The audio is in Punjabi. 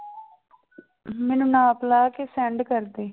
ਮੈਨੂੰ ਨਾਪ ਲਾ ਕੇ send ਕਰ ਦੇਈਂ।